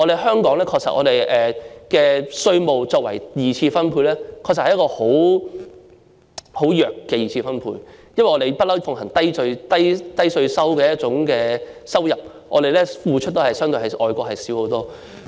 香港的稅收作為二次分配的手段，確實是很弱的二次分配，因為我們一向奉行低稅率的收入，付出的較外國少得多。